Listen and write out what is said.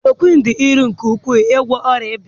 Chloroquine dị irè nke ukwuu n'ịgwọ ọrịa ịba ya